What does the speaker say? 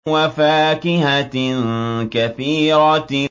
وَفَاكِهَةٍ كَثِيرَةٍ